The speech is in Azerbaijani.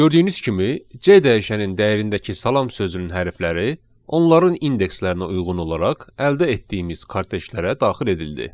Gördüyünüz kimi C dəyişənin dəyərindəki salam sözünün hərfləri onların indekslərinə uyğun olaraq əldə etdiyimiz karteclərə daxil edildi.